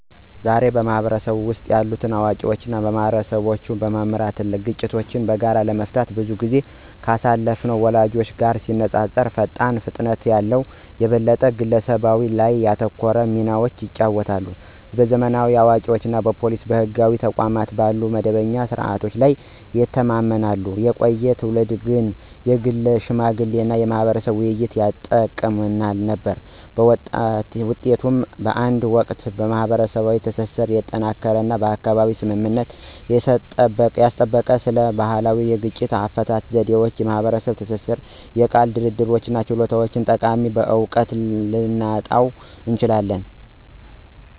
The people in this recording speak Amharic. ዛሬ፣ በህብረተሰቡ ውስጥ ያሉ አዋቂዎች ማህበረሰቦችን በመምራት እና ግጭቶችን በጋራ ለመፍታት ብዙ ጊዜ ካሳለፉት ወላጆቻችን ጋር ሲነፃፀሩ ፈጣን ፍጥነት ያለው፣ የበለጠ በግለሰብ ላይ ያተኮረ ሚናዎችን ይጫወታሉ። ዘመናዊ አዋቂዎች እንደ ፖሊስ ወይም ህጋዊ ተቋማት ባሉ መደበኛ ስርዓቶች ላይ ይተማመናሉ፣ የቆዩ ትውልዶች ግን የግል ሽምግልና እና የማህበረሰብ ውይይቶችን ይጠቀሙ ነበር። በውጤቱም፣ በአንድ ወቅት ማህበረሰባዊ ትስስርን ያጠናከረ እና በአካባቢው ስምምነትን ያስጠበቀ ስለ ባህላዊ የግጭት አፈታት ዘዴዎች፣ የማህበረሰብ ትብብር እና የቃል ድርድር ችሎታዎች ጠቃሚ እውቀትን ልናጣ እንችላለን።